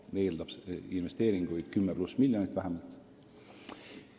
See eeldab investeeringut minimaalselt 10 miljonit, ilmselt palju rohkemgi.